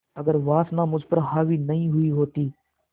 अगर वासना मुझ पर हावी नहीं हुई होती